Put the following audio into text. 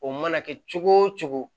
O mana kɛ cogo o cogo